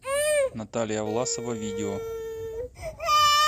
наталия власова видео